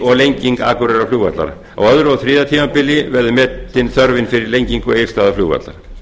og lenging akureyrarflugvallar á öðrum og þriðja tímabili verður metin þörfin fyrir lengingu egilsstaðaflugvallar